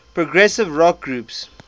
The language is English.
progressive rock groups